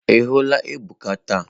Ị hụla Ebuka taa?